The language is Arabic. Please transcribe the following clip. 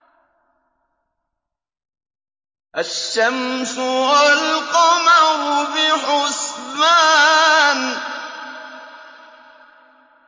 الشَّمْسُ وَالْقَمَرُ بِحُسْبَانٍ